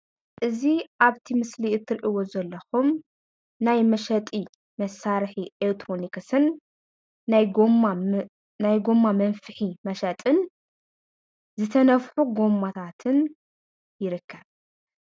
እዚ ኣብቲ ምስሊ እትሪእዎ ዘለኩም ናይ መሸጢ ማሳርሒ ኤሌክትሮኒክስን ናይ ጎማ መንፍሒ መሸጥን ዝተነፍሑ ጎማታትን ይርከብ፡፡